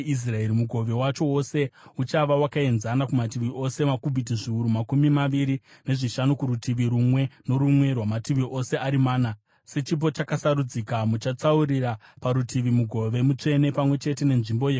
Mugove wacho wose uchava wakaenzana kumativi ose, makubhiti zviuru makumi maviri nezvishanu kurutivi rumwe norumwe rwamativi ose ari mana. Sechipo chakasarudzika, muchatsaurira parutivi mugove mutsvene, pamwe chete nenzvimbo yeguta.